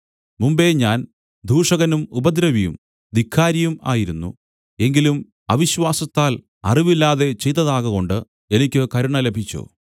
മുമ്പെ ഞാൻ ദൂഷകനും ഉപദ്രവിയും ധിക്കാരിയും ആയിരുന്നു എങ്കിലും അവിശ്വാസത്തിൽ അറിവില്ലാതെ ചെയ്തതാകകൊണ്ട് എനിക്ക് കരുണ ലഭിച്ചു